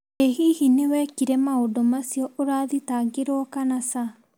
Ĩ hihi nĩ wekire maũndũ macio ũrathitangĩrwo kana ca?